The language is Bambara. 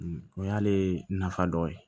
O y'ale nafa dɔ ye